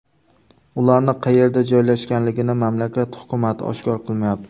Ularning qayerda joylashganligini mamlakat hukumati oshkor qilmayapti.